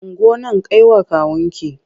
Ungo nan kai wa kawunki!